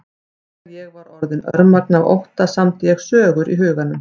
Þegar ég var orðin örmagna af ótta samdi ég sögur í huganum.